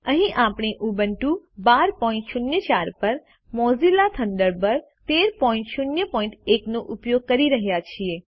અહીં આપણે ઉબુન્ટુ 1204 પર મોઝિલા થન્ડરબર્ડ 1301 નો ઉપયોગ કરી રહ્યા છીએ